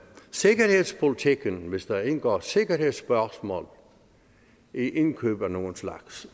sikkerhedspolitikken hvis der indgår sikkerhedsspørgsmål i indkøb af nogen slags